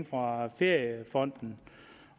fra feriefonden